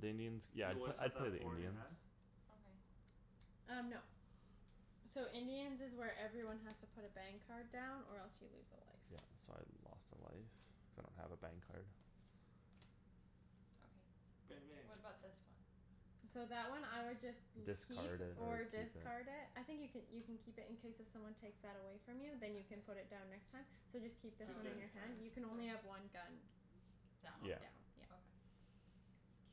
The Indians, yeah, You I'd p- always have I'd to have play the four in your Indians. hand? Okay. Um, no. So Indians is where everyone has to put a bang card down or else you lose a life. Yeah, so I lost a life cuz I don't have a bang card. Bang Okay, bang. what about this one? So that one I would just You'd keep Discard it or or use it. discard it. I think you could, you can keep it in case if someone takes that away From you then you can put Okay. it down next time. So just keep Oh, this Keep one that in in your your okay. hand. hand; you can only have one gun. Down. On Yeah. down, yeah. Okay.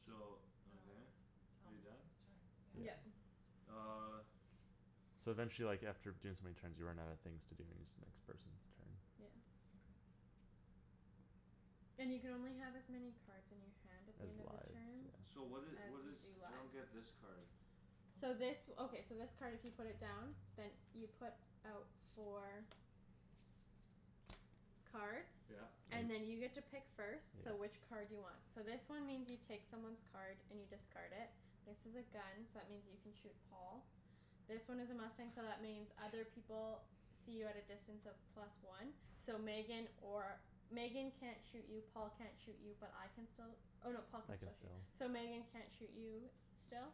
So, Now okay, it's are you done? Thomas's turn, yeah. Yeah. Yep. Uh. So then she, like, after doing so many turns you run out of things to do and then it's the next person's turn. Yeah. Okay. And you can only have as many cards in your hand at the Has end of the lives, turn so. So what did, As what you is, do I don't lives. get this card. So this, okay, so this card if you put it down Then you put out four Cards Yeah. And then you get to pick first, so which card do you want? So this one means you take someone's card and you discard it. This is a gun so that means you can shoot Paul. This one is a mustang so that means other people See you at a distance of plus one. So Megan or, Megan can't shoot you Paul can't shoot you but I can still Oh no, Paul can I can still shoot, still. so Megan can't shoot you still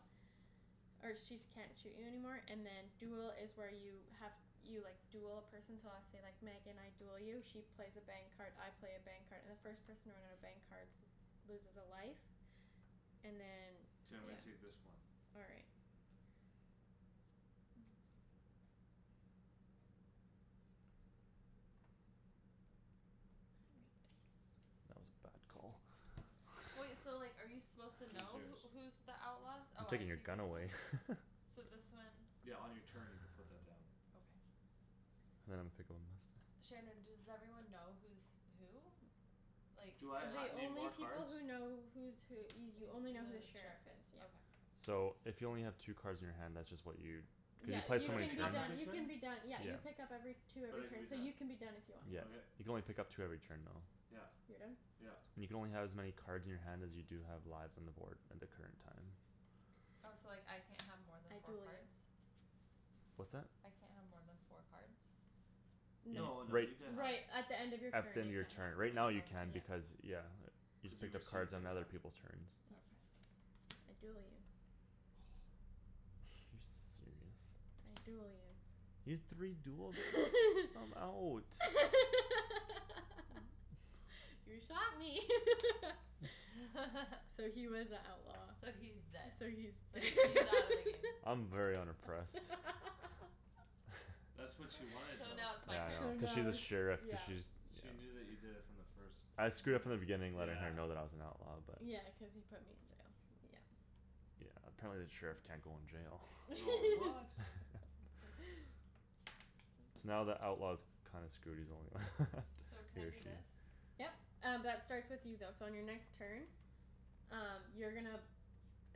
Or she's can't shoot you anymore and then duel is where you have You, like, duel a person so let's say, like, Megan I Duel you she plays a bang card, I play a bang card and the first person to run out of bang cards Loses a life And then, K, I'm yeah. gonna take this one. All right. That was a bad Wait, call. so like are you supposed to Who's know yours? who, who's The outlaws? I'm Oh, I taking your take gun this one? away. So this one Yeah, on your turn you could put that down. Okay. Now I'm gonna pick one Shandryn, does everyone know who's who? Like, Do I ha- like The need only more people cards? who know who's who y- You you only know know who the the sheriff sheriff is, is, yeah. okay. So if you only have two cards in your hand that's just what you Cuz you Yeah. And play uh it do You so I many can pick be up turns every done, you can turn? be done. Yeah, Yeah. you pick up every Two But every I can be turn so you done. can be done if you want, yeah. Yeah, Okay. you can only pick up two every turn though. Yep, You're done? yep. You can only have as many cards in your hand as you do have lives on the board end of turn time. Oh, so, like, I can't have more than I four duel you. cards? What's that? I can't have more than four cards? Y- No. No, no, you can Right have Right, at the end of your At the turn end you of your can't have turn. more Right now than, you can yeah. Okay. because, yeah. You can Cuz you pick up received cards on it, other yeah. people's turns. Mm. Okay. I duel you. You serious? I duel you. You had three duels there? I'm out. You shot me. So he was a outlaw. So he's dead. So he's So d- he, he's out of the game. I'm very unimpressed. That's what she wanted So though. now Yeah, it's my I So know, turn? cuz now she's a it's, sheriff, cuz yeah. she's, yeah. She knew that you did it from the first I screwed up from the minute. beginning letting her Yeah. know that I was an outlaw but Yeah, cuz he put me in jail, yeah. Yeah, apparently the sheriff can't go in Oh, jail. what? So now the outlaw's kinda screwed; he's the only one, So can he I or do she. this? Yep. Um b- that starts with you though so on your next turn Um you're gonna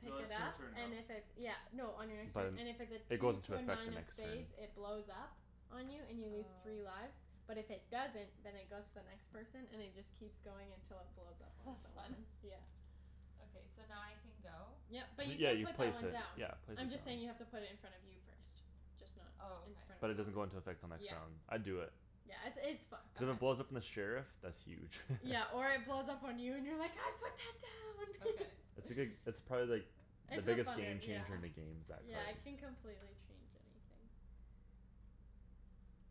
No, it it's her up turn now. and if it's, yeah No, on your next So turn, then and if it's a it two goes into to a effect nine the of next turn. spades it blows up On you and you lose three Oh. lives. But if it doesn't, then it goes to the next person and it just Keeps going until it blows up on That's fun. someone, yeah. So now I can go? Yep, but you Yeah, can you put that place one it. down. Yeah, place it I'm just saying you have down. to put it in front of you first. Just not Oh, in okay. front But of it doesn't Thomas. go into effect till next Yep round. I'd do it. Yeah, it's, it's fun. Cuz if it Okay. blows up on the sheriff, that's huge. Yeah, or it blows up on you and you're like, "I put that Okay. It's down!" a good, it's probably like The It's a biggest funner, game changer yeah, in the games, that yeah, it card. can complete change anything.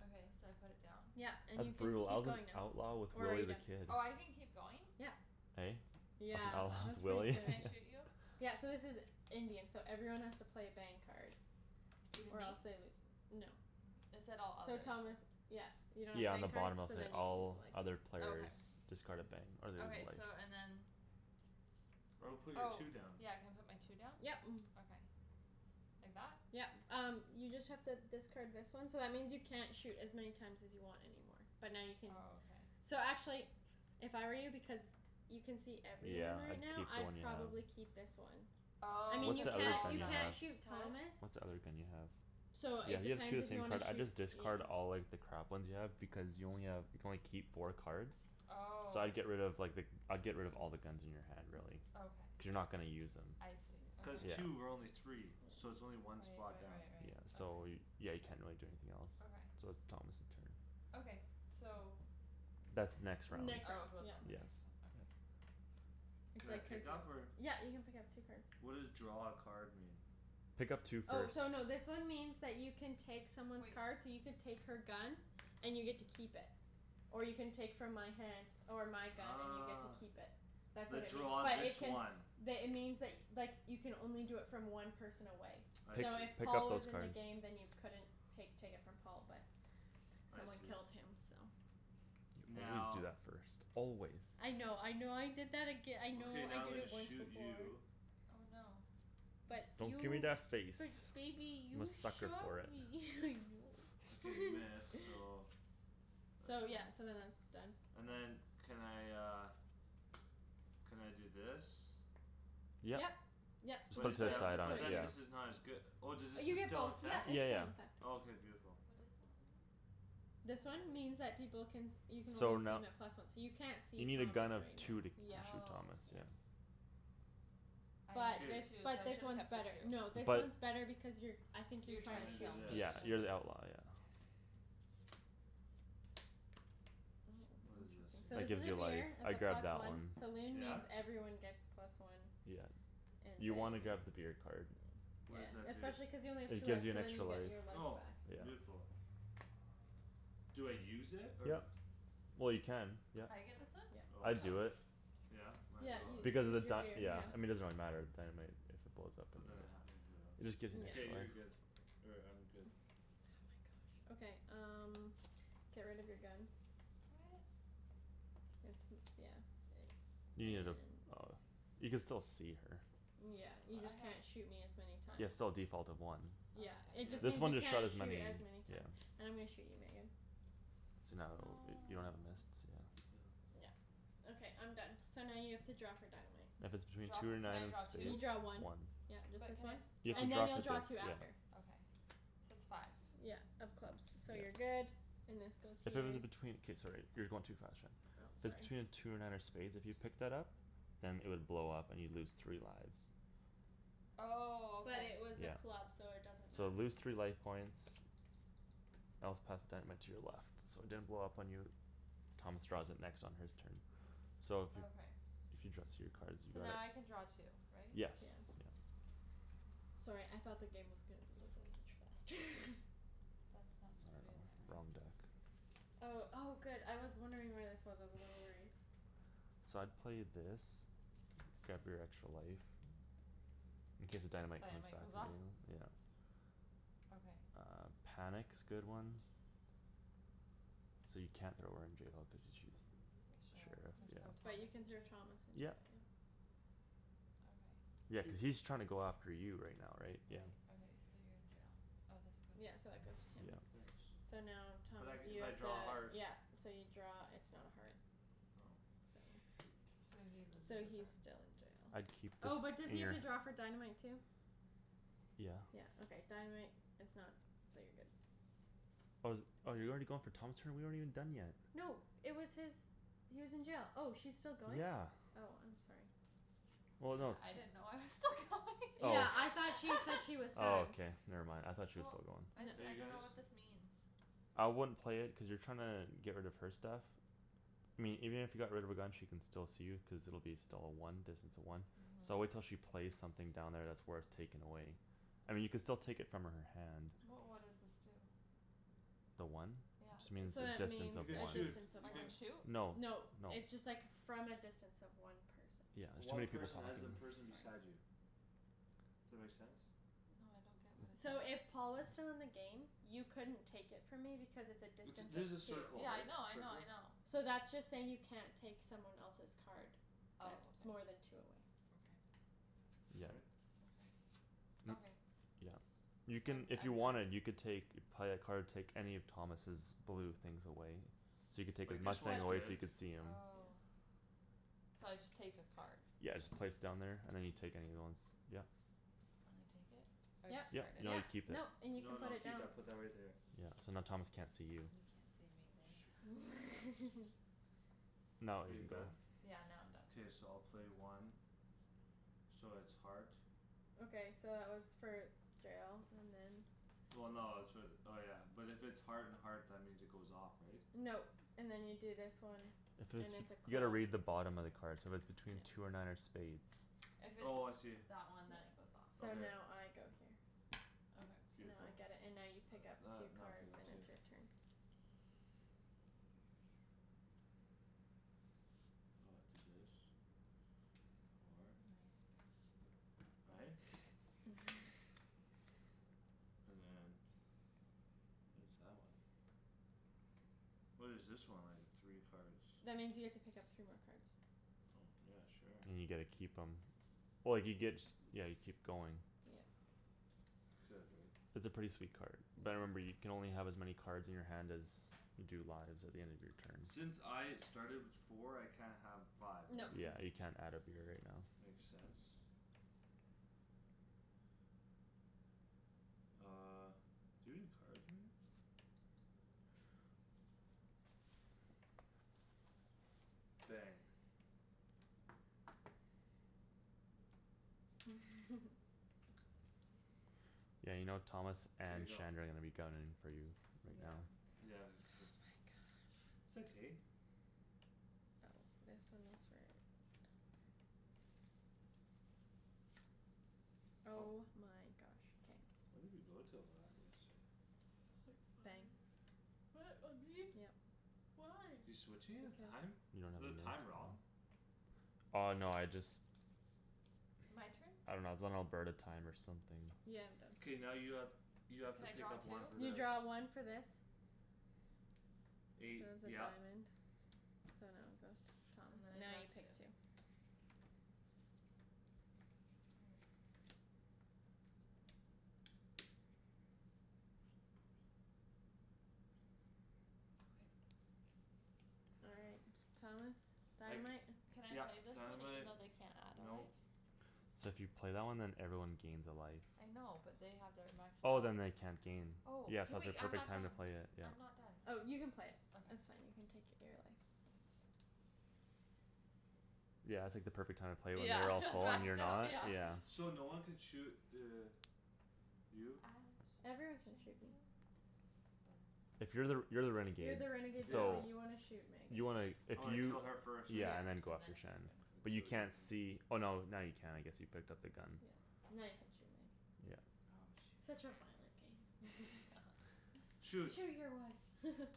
Okay, so I put it down? Yep. And That's you can brutal. I keep was an going now. outlaw with Or are Willy you the done? Kid. Oh, I can keep going? Yeah. Hey? I was an Yeah, outlaw with that's pretty Willy? Can good. I shoot you? Yeah, so this is Indian, so everyone has to play a bang card. Even Or me? else they lose, no. It said all So others. Thomas, yeah, you don't have a Yeah, on bang the card? bottom it'll So say, then you lose "All a life. other players Okay. Discard a bang or lose a Okay, so and life." then I would put your Oh, two down. yeah, can I put my two down? Yep. Okay. Like that? Yep. Um you just have to discard this one So that means you can't shoot as many times as you want anymore, but now you can Oh, okay. So actually if I were you, because You can see Yeah, everyone right I'd now, keep the I'd one you have. probably keep this one. I Oh, mean, What's you cuz the other can't, you thing you Paul's can't have? out. shoot Thomas What's the other thing you have? So Yeah, it you have two depends of the if you same wanna card. I'd shoot, just you know. discard all, like, the crap ones you have because you only have, you can only keep four cards. So Oh. I'd get rid of, like, the, I'd get rid of all the guns in your hand, really. Okay. Cuz you're not gonna use them. I see, okay. Cuz Yeah. two. We're only three. So it's only one Right, spot right, down. right, Yeah, right. so Okay. y- yeah, you can't really do anything else. Okay. So it's Thomas' turn. Okay, so That's next round. Oh, it Next round, goes yep. on the Yes. next one, okay. It's Can I like pick up or? yep, you can pick up two cards. What does draw a card mean? Pick up two Oh, cards. so no, this one means that you can take someone's Wait. card so you could take her gun And you get to keep it or you can take from my hand Or my gun and you get to keep it. That's The, what it means draw but it this can one. The, it means, like, like you can only do it from one person away. I Pick, So see. if pick Paul up was those in the cards. game then you couldn't pake, take it from Paul but I Someone see. killed him, so. You always do Now that first. Always. I know, I know I did that aga- I know Okay, I now I'm did gonna it once shoot before. you. Oh, no. Nice. But Don't give me you, that face. but baby, I'm a you sucker shot for it. me Okay, you. miss, so that's So fine. yeah, so then that's done. And then can I uh Can I do this? Yep. Yep, so Just But put just it is to put the it, side that, just on, put but it then here. yeah. this is not as good Oh, does Uh this is you st- get still both; in - yep, fect? it's Yeah, still yeah. in effect. Oh, k, beautiful. What is that one? This one means that people can You can only So see no- 'em at plus one. So you can't You see need a gun Thomas of right two now. to Yeah, shoot Oh. Thomas, yeah. yeah. I But K. this, needed two so I but this should have one's kept better. No, the two. this But one's better because you're I think you're You're I'm trying trying to gonna to do shoot kill this. me. me, Yeah, you're okay. the outlaw, yeah. What is this Oh, interesting. So That this here? is gives a you life, beer, it's a I'd grab plus that one. one. Saloon Yeah? means everyone gets plus one. Yeah. And You wanna bang grab the is beer card. Yeah, What does that do? especially cuz you only have two It gives lives you so an then extra you life. get your life Oh, back. Yeah. beautiful. Do I use it or? Yep. Well, you can, yep. I get this one? Yep. Oh I I'd Oh. see. do it. Yeah? Might Yeah, as well, you, right? Because of this the is your beer, dy- yeah yeah. I mean, it doesn't really matter, the dynamite If it blows up in But then there. I have emporio. It just gives an Yeah. extra K, you're life. good. Or I'm good. Okay, um get rid of your gun. What? It's m- yeah. You need a, And oh, you can still see her. Yeah, you But I just have can't shoot me as many Yeah, times. it's still a default of one. Yeah, Okay. it Yeah. just This means one you just shot can't as shoot many, as many times. yeah. And I'm gonna shoot you, Megan. So now it'll be, you don't have a miss, No. so. Yeah, okay I'm done. So now you have to draw for dynamite. If it's between Draw two fo- or can nine I draw of You two? spades. draw one. One. Yep, just But this can I one. You have draw And then you'll to draw draw for two this after. Okay, so it's five. Yeah, of clubs, so you're Yep. good. And this goes If here. it was between, k, sorry, you're going too fast, Shan. Oh, So sorry. between two or nine of spades, if you picked that up Then it would blow up and you'd lose three lives. Oh, But okay. it was a Yeah. club, so it doesn't So matter. lose three life points Else pass dynamite to your left. So it didn't blow up on you. Thomas draws it next on his turn. So if you, Okay. if you draw So now I can draw two, right? K. Yes. Yeah. Sorry, I thought the game was gonna be This over is much faster. That's I not supposed to be dunno, in there, wrong right? deck. Oh, oh, good I was wondering where this was; I was a little worried. So I'd play this. Grab your extra life. In case the dynamite comes Dynamite back goes the other off? way, yeah. Okay. Uh, panic's good one. So you can't throw her in jail because she's Sure, Sheriff, can I throw yeah. But you can throw Thomas Thomas in jail? in Yep. jail, yeah. Okay. Yeah, cuz Cuz he's trying to go after you right now, right? Yeah. Right, okay. So you're in jail. Oh, this Yeah, goes so that goes to him. Yeah. Thanks. So now, But Thomas I, you if I have to, draw a heart yeah. So you draw, it's not a heart. Oh. So Shoot. So he loses So a he's turn. still in jail. I'd keep this Oh, but does he in have your to draw for dynamite too? Yeah. Yeah, okay, dynamite is not, so you're good. Oh, is it, oh, you're already going for Thomas' turn? We aren't even done yet. No, it was his He was in jail; oh, she's still going? Yeah. Oh, I'm sorry. Well, no I didn't it's know I was still going. Oh. Yeah, I thought she said he was Oh, done. okay, never mind, I thought she was Well. still going. Are I, I you dunno guys what this means. I wouldn't play it cuz you're trying to get rid of her stuff. I mean, even if you got rid of her gun she can still see you cuz it'll be still a one, distance of one. So Mhm. wait till she plays something down there that's worth taking away. I mean, you could still take it from her hand. But what does this do? The one? It just Yeah. means So a that distance means You of could a one. shoot. distance of You I one. can can shoot? No, no. No, it's just, like, from a distance of one person. Yeah, there's too One many people person talking. as in Sorry. person beside you. That make sense? No, I don't get what it So does. if Paul was still in the game You couldn't take it from me because it's a It's, distance this is a of two. circle Yeah, I right? know, I know, I Circle? know. So that's just saying you can't take someone else's card That's Oh, more than okay. two away. Okay. Yeah. K. Okay. Okay. Yeah. So You can, I'm d- if you I'm wanted done. you can take You'd play a card, take any of Thomas's blue things away. So you could take his Like this mustang But one's away so good. you could see him. Oh. So I just take the card. Yeah, Okay. just place it down there and then you take any other ones. Yeah. Can I take it? Or I Yep, Yep, discard it? no you yep, keep it. nope, and you can No, put no, it keep down. that put that right there. Yeah, so now Thomas can't see you. You can't see me, babe. No, Are you you can go. done? Yeah, now I'm done. K, so I'll play one. So it's heart. Okay, so that was for jail and then Well, no, it's for the, oh, yeah, but if it's Heart and heart, that means it goes off, right? No. And then you do this one If And it's, it's a you gotta club. read the bottom of the card. So if it's between two or nine or spades If it's Oh, I see. that one then it goes off. So Okay. now I go here. Okay. Now I Beautiful. get it and now you pick That's up that, two now I pick cards up and two. it's your turn. I'll do this. Four. Nice babe. Right? And then What is that one? What is this one? Like the three cards. That means you get to pick up three more cards. Oh, yeah, sure. And you get to keep 'em Oh, you get, yeah, you keep going. Yeah. Could, right? It's a pretty sweet card. Yeah. But remember you can only have as many Cards in your hand as you do lives At the end of your turns. Since I started with four I can't have five, right? No. Yeah, you can't add a beer right now. Makes sense. Uh, do you have any cards, Megan? Bang. Yeah, you know, Thomas K, and go. Shandryn are gonna be gunnin' for you right now. Yeah, Oh except my gosh. It's okay. Oh, this one was for Oh my gosh. K. When did we go to a live yesterday? Quick Bang. fire. What, on me? Yep. Why? You're switching his Because. time? You don't Is have the a list? time wrong? Oh, no, I just. My turn? I dunno, it's on Alberta time or something. Yeah, I'm done. K, now you have, you have to Can I pick draw up two? one for You this. draw one for this. So it Eight, was a yep. diamond, so now it goes to Thomas And then and I now draw you two. take two. Oh. Okay. All right. Thomas. I c- Dynamite. Can I yep, play this one even dynamite, though they can't add a nope. life? So if you play that one then everyone gains a life. I know, but they have their max Oh, health. then they can't gain. Oh, Yeah, hey, so it's a wait, I'm perfect not time to done. play it, yeah. I'm not done. Oh, you can play. That's Okay. fine; you can take your beer away. Thank you. Yeah, it's like the perfect time to play it when Yeah, they're all full and that's you're down, not, yeah. yeah. So no one can shoot the You? I shot Everyone can the shoot me. sheriff. But If you're the, you're the You're renegade, the renegade though Yeah. so so you want to shoot Megan. You wanna, if Oh, I you kill her first, right? Yeah. Yeah, and then go And after then I Shandryn. Shan. But you kill you can't see, oh, no, now you can, I guess; you picked up the gun. Yeah, now you can shoot me. Yeah. Oh, Such shoot. a violent game. Shoot. "Shoot your wife!"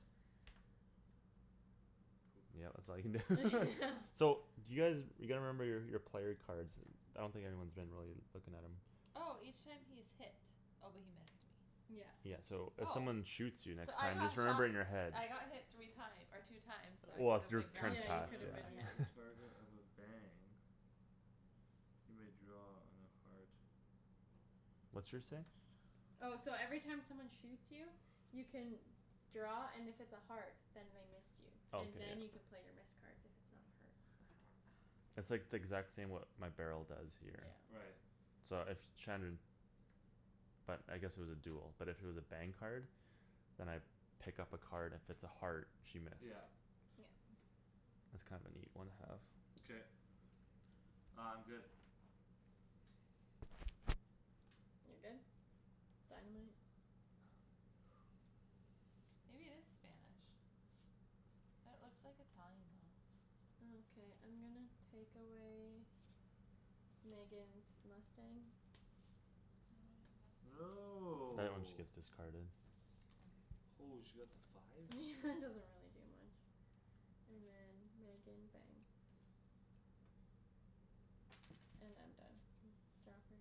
Poop. Yeah, that's all you can do. Yeah. So do you guys, you gotta remember your, your player cards. I don't think anyone's been really looking at 'em. Oh! Each time he is hit. Oh, but he missed me. Yeah. Yeah, so if Oh. someone shoots you So next I time got just remember shot in your head. I got hit three time- or two times so I Well, if could've your been turn's Yeah, grabbing. you passed, could've Whenever been, yeah. he's Okay. yeah. a target of a bang you may draw on a heart. What's yours say? Oh, so every time someone shoots you You can draw, and if it's a heart, then they missed you. Oh, And k, yep. then you can play your missed cards if it's not a heart. It's like the exact same, what my barrel does here. Yeah. Right. So if Shandryn But I guess it was a duel, but if it was a bang card Then I pick up a card, and if it's a heart, she missed. Yeah. Yep. That's kind of a neat one have. K. Uh, I'm good. You're good? Dynamite? Maybe it is Spanish. It looks like Italian, though. Okay, I'm gonna take away Megan's mustang. Oh, now I have nothing. Right when she No. gets discarded. Holy, she got the five? Doesn't really do much. And then, Megan, bang. And I'm done. Draw for?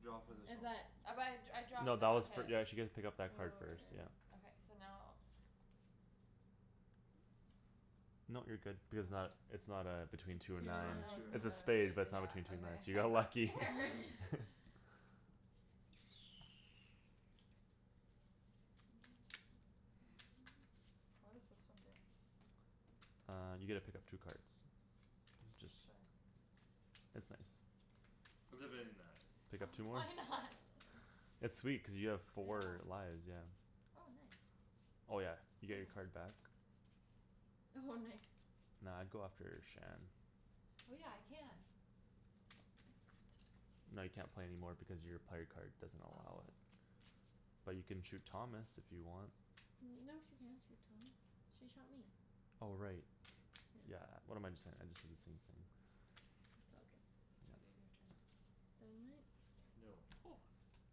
Draw Oh for but this Is one. that? I, I draw No, cuz I that was got for, hit. yeah, she get to pick up Oh, right, that card right, first, yeah. right. Okay, so now. Nope, you're good. Because it's not, Mhm. it's not uh, between two or Two It's or nine. not Oh, two or it's It's nine. a nine. a have spade, but it's a, yeah, not between two or nine. okay. So you I got got lucky. scared. What does this one do? Uh, you get to pick up two cards. It's just, Sure. it's nice. It's a Okay. very nice. Pick up two more. Why not? It's sweet cuz you have Yeah. four lives, yeah. Oh, nice. Oh, yeah, you get your Ooh. card back. Oh, nice. Nah, I'd go after Shan. Oh, yeah, I can. No, you can't play any more because your player card doesn't allow Oh. it. But you can shoot Thomas, if you want. No, she can't shoot Thomas. She shot me. Oh, right. Yeah. Yeah, what am I j- saying, I just didn't see anything. It's all good. K, babe, your Yeah. turn. Dynamite. No.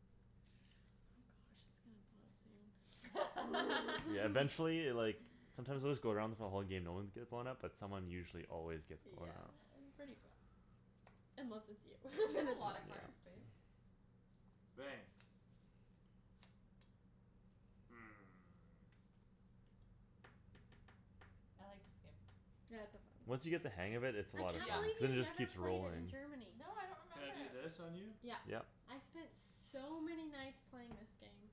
Oh gosh, it's gonna blow soon. Yeah, eventually, like Sometimes it would just go around for the whole game, no ones get blown up, but someone usually always gets blown Yeah, up. it's pretty fun. Unless it's you. You have Then a it's lot of cards, babe. Bang. Hmm. I like this game. Yeah, it's so fun. Once you get the hang of it, it's a I lot of can't Yeah. fun. believe Cuz it you just never keeps played it in rolling. Germany. No, I don't Can remember I do it. this on you? Yeah. Yep. I spent so many nights playing this game.